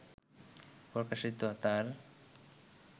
প্রকাশিত তাঁর